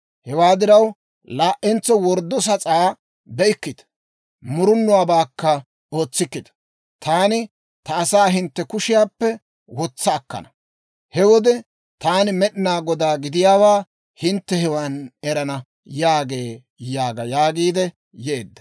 Hewaa diraw, laa"entso worddo sas'aa be'ikkita; murunuwaabaakka ootsikkita. Taani ta asaa hintte kushiyaappe wotsa akkana. He wode taani Med'inaa Godaa gidiyaawaa hintte hewan erana» yaagee› yaaga» yaagiidde yeedda.